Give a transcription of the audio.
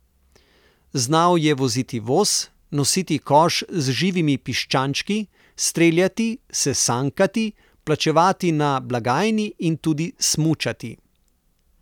Znal je voziti voz, nositi koš z živimi piščančki, streljati, se sankati, plačevati na blagajni in tudi smučati.